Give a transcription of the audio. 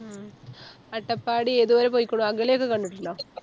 ഉം അട്ടപ്പാടി ഏതുവരെ പോയിക്കുണു അകലെ ഒക്കെ കണ്ടിട്ടൊണ്ടോ